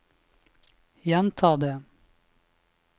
gjenta det